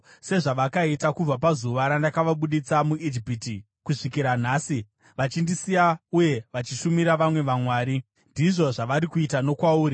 Sezvavakaita kubva pazuva randakavabudisa muIjipiti kusvikira nhasi, vachindisiya uye vachishumira vamwe vamwari, ndizvo zvavari kuita nokwauri.